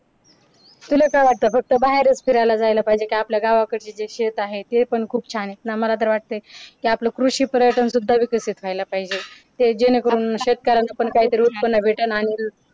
तुला काय वाटते फक्त बाहेर फिरायला जायला पाहिजे काय आपल्या गावाला आपल्या गावाकडची शेत आहे ते पण खूप छान आहे मला तर वाटतं की आपलं कृषी पर्यटन सुविधा विकसित व्हायला पाहिजे ते जेणेकरून शेतकऱ्यांना पण काहीतरी उत्पन्न भेटल आणि